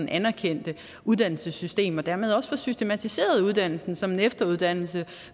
anerkendte uddannelsessystem og dermed også få systematiseret uddannelsen som en efteruddannelse